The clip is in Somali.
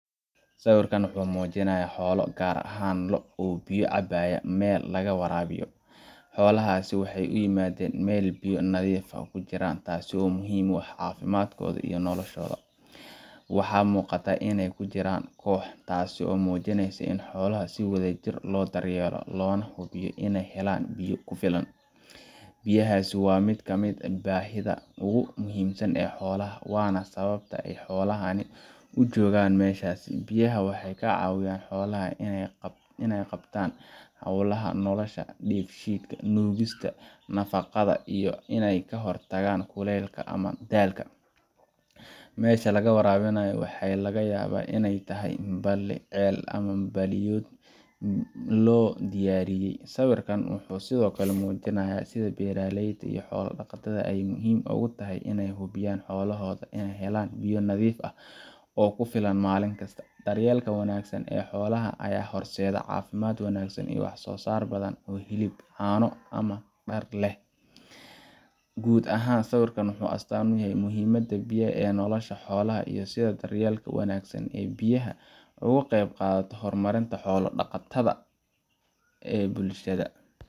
Sawirkan waxa uu muujinayaa xoolo, gaar ahaan lo’ ama geel, oo biyo cabaya meel laga waraabiyo. Xoolahani waxay u yimaadeen meel ay biyo nadiif ah ku jiraan, taas oo muhiim u ah caafimaadkooda iyo noloshooda. Waxaa muuqata inay ku jiraan koox, taasoo muujinaysa in xoolaha si wadajir ah loo daryeelo loona hubiyo inay helaan biyo ku filan. Biyaha waa mid ka mid ah baahiyaha ugu muhiimsan ee xoolaha, waana sababta ay xoolahani u joogaan meeshaas. Biyaha waxay ka caawiyaan xoolaha inay qabtaan hawlaha nolosha sida dheefshiidka, nuugista nafaqada, iyo in ay ka hortagaan kuleylka ama daalka. Meesha laga waraabiyo waxaa laga yaabaa inay tahay balli, ceel, ama weel biyood loo diyaariyay. Sawirkan wuxuu sidoo kale muujinayaa sida beeralayda ama xoolo-dhaqatada ay muhiim ugu tahay inay hubiyaan in xoolahooda helaan biyo nadiif ah oo ku filan maalin kasta. Daryeelka wanaagsan ee xoolaha ayaa horseeda caafimaad wanaagsan iyo wax-soo-saar badan oo hilib, caano, ama dhar ah. Guud ahaan, sawirkan wuxuu astaan u yahay muhiimadda biyaha ee nolosha xoolaha iyo sida daryeelka wanaagsan ee biyaha uu uga qayb qaato horumarinta xoolo-dhaqatada ee bulshada.